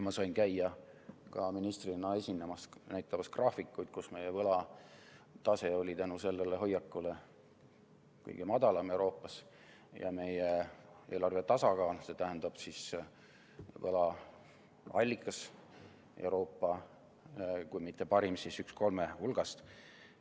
Ma sain käia ministrina esinemas ja näitamas graafikuid, kus meie võlatase oli tänu sellele hoiakule kõige madalam Euroopas ja meie eelarve tasakaal, st võla allikas, kui mitte Euroopa parim, siis üks kolme parima hulgast.